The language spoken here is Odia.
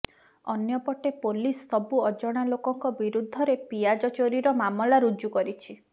ଅନ୍ୟପଟେ ପୋଲିସ ସବୁ ଅଜଣା ଲୋକଙ୍କ ବିରୁଦ୍ଧରେ ପିଆଜ ଚୋରୀର ମାମଲା ରୁଜୁ କରିଛି